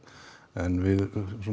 en við